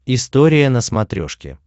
история на смотрешке